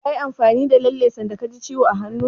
Kayi amfani da lalle sanda ka ji ciwo a hannu?